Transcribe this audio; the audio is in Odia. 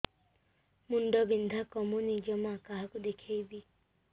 ମୁଣ୍ଡ ବିନ୍ଧା କମୁନି ଜମା କାହାକୁ ଦେଖେଇବି